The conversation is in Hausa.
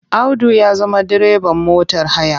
Audu ya zama direban motar haya.